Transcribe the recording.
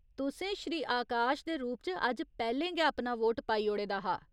तुसें श्री आकाश दे रूप च अज्ज पैह्‌लें गै अपना वोट पाई ओड़े दा हा।